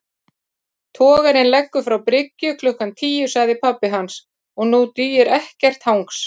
Togarinn leggur frá bryggju klukkan tíu sagði pabbi hans, og nú dugir ekkert hangs